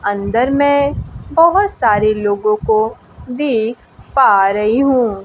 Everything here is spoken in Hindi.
अंदर में बहोत सारे लोगों को देख पा रही हूं।